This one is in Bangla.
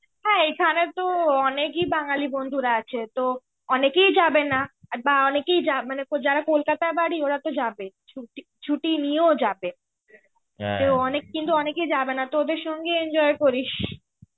হ্যাঁ এখানেতো অনেকই বাঙালি বন্ধুরা আছে, তো অনেকেই যাবেনা, আর বা অনেকেই মানে কলকাতায় বাড়ি ওরা তো যাবে. ছুটি ছুটি নিয়েও যাবে. কেও অনেক কিন্তু অনেকে যাবেনা তো ওদের সঙ্গে enjoy করিস.